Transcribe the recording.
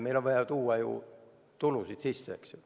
Meil on ju vaja tuua tulusid sisse, eks ju.